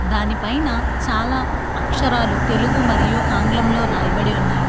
దాని పైన చాలా అక్షరాలు తెలుగు మరియు ఆంగ్లంలో రాయబడి ఉన్నాయి.